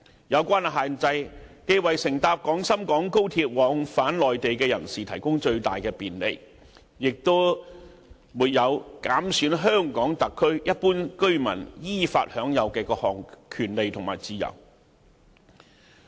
有關限制既為乘搭廣深港高鐵往返內地的人士提供最大便利，亦沒有減損香港特區一般居民依法享有的各項權利和自由。